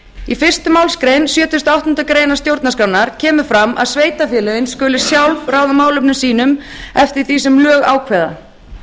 í fyrstu málsgrein sjötugustu og áttundu grein stjórnarskrárinnar kemur fram að sveitarfélögin skuli sjálf ráða málefnum sínum eftir því sem lög ákveða